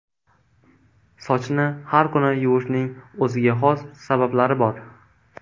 Sochni har kuni yuvishning o‘ziga xos sabablari bor.